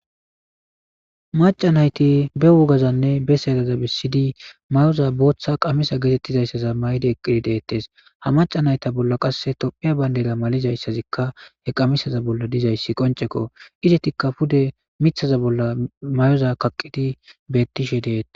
maca nayti be wogazanne be saydaza bisidi mayoza booththa qamisa geetettizayssaza maydi eqqidi deettes ha maca nayta bolla qasse tophiya bayndela malizayssazikka he qamisaza bolla dizayssi qoncekko izetikka pude mithaza bolla may7oza kaqqidi bettishe deeta